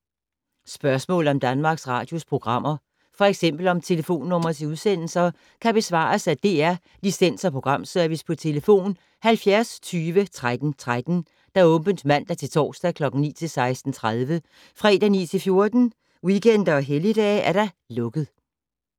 Spørgsmål om Danmarks Radios programmer, f.eks. om telefonnumre til udsendelser, kan besvares af DR Licens- og Programservice: tlf. 70 20 13 13, åbent mandag-torsdag 9.00-16.30, fredag 9.00-14.00, weekender og helligdage: lukket.